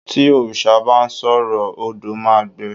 ti òrìṣà ba sọrọ, odo ma gbe